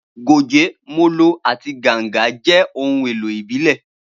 Goge, molo, àti ganga jẹ́ ohun èlò ìbílẹ̀.